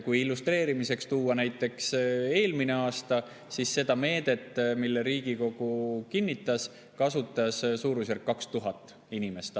Kui illustreerimiseks tuua näiteks eelmine aasta, siis seda meedet, mille Riigikogu kinnitas, kasutas suurusjärgus 2000 inimest.